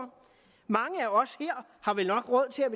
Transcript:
mange af os her har vel nok råd til at